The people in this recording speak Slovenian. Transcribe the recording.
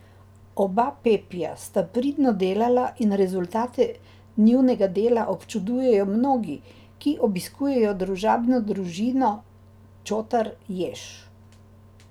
Oba Pepija sta pridno delala in rezultate njunega dela občudujejo mnogi, ki obiskujejo družabno družino Čotar Jež.